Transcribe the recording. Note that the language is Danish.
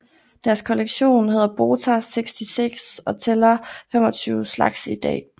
Deres kollektion hedder Botas 66 og tæller 25 slags i dag